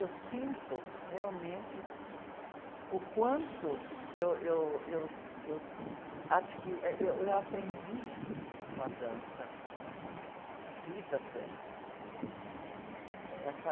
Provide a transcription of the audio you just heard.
Eu sinto realmente o quanto eu, eu, eu, eu adqui, eh, eu aprendi com a dança, a vida até. Com essa...